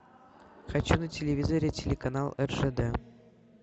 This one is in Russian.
хочу на телевизоре телеканал ржд